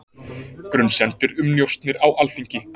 Grunsemdir um njósnir á Alþingi